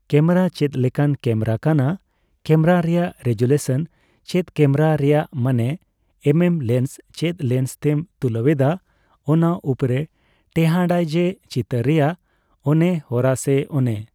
camera ᱪᱮᱫᱞᱮᱠᱟᱱ camera ᱠᱟᱱᱟ .camera ᱨᱮᱭᱟᱜ ᱨᱮᱜᱩᱞᱮᱥᱚᱱ ᱪᱮᱫ ᱠᱮᱢᱮᱨᱟ ᱨᱮᱭᱟᱜ ᱢᱟᱱᱮ ᱮᱢ ᱮᱢ ᱞᱮᱱᱥ ᱪᱮᱫ ᱞᱮᱱᱥ ᱛᱮᱢ ᱛᱩᱞᱟᱹᱣᱮᱫᱟ ᱚᱱᱟ ᱩᱯᱚᱨᱮ ᱴᱮᱦᱟᱱᱰ ᱟᱭ ᱡᱮ ᱪᱤᱛᱟᱹᱨ ᱨᱮᱭᱟᱜ ᱚᱱᱮ ᱦᱚᱨᱟ ᱥᱮ ᱚᱱᱮ